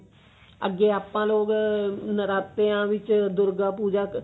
ਅੱਗੇ ਆਪਾਂ ਲੋਕ ah ਨਰਾਤਿਆਂ ਦੇ ਵਿੱਚ ਦੁਰਗਾ ਪੂਜਾ